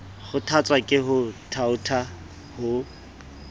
kgothatswa ke ho thaotha ho